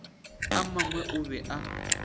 a mangwe o be a